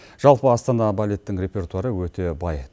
жалпы астана балеттің репертуары өте бай